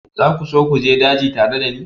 Za ku so ku je daji tare da ni?